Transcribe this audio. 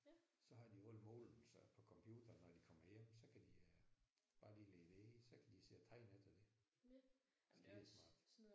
Så har de jo alle målene så på computeren når de kommer hjem så kan de øh bare lige lægge det ind så kan de sidde og tegne efter det. Skidesmart